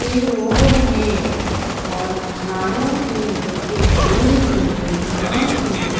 ये रोड है और झाड़ों के नीचे हरी भरी घास है।